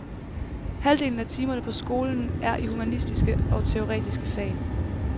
Halvdelen af timerne på skolen er i humanistiske og teoretiske fag.